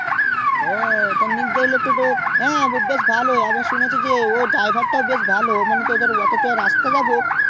ও তো নেকদারুল এর টোটো বেশ ভালোই আমি ও সুনেছি যে ওই driver তা ভালো অনেকটা রাস্তা যাবো তো